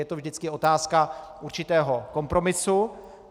Je to vždycky otázka určitého kompromisu.